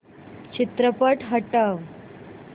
चित्रपट हटव